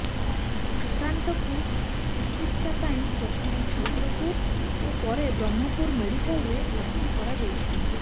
ସୁଶାନ୍ତଙ୍କୁ ଚିକିତ୍ସା ପାଇଁ ପ୍ରଥମେ ଛତ୍ରପୁର ଓ ପରେ ବ୍ରହ୍ମପୁର ମେଡିକାଲରେ ଭର୍ତି କରାଯାଇଛି